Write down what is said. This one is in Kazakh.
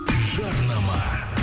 жарнама